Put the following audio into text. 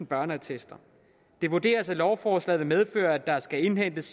børneattester det vurderes at lovforslaget vil medføre at der skal indhentes